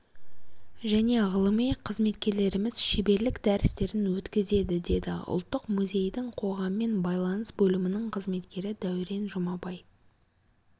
және ғылыми қызметкерлеріміз шеберлік дәрістерін өткізеді деді ұлттық музейдің қоғаммен байланыс бөлімінің қызметкері дәурен жұмабай